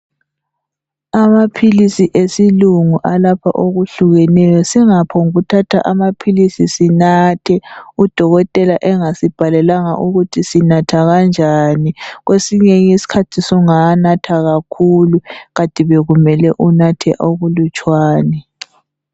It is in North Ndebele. Amaphilisi esilingu alapha okuhlukeneyo singaphonguthatha amaphilisi sinathe udokotela engasibhalelanga ukuthi sinatha kanjani , kwesinye iskhathi sungawanatha kakhulu kathi bekumele unathe okulutshwane